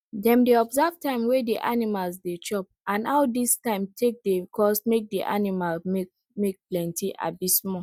dem dey observe time wey di animals dey chop and how dis time take dey cause make di aninimal milk milk plenti abi small